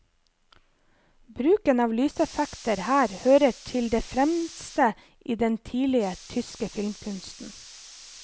Bruken av lyseffekter her hører til det fremste i den tidlige tyske filmkunsten.